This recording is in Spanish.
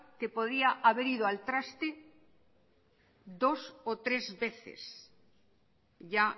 que podía haber ido al traste dos o tres veces ya